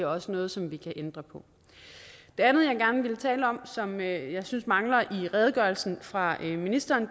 også noget som vi kan ændre på det andet jeg gerne vil tale om som jeg synes mangler i redegørelsen fra ministeren